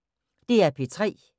DR P3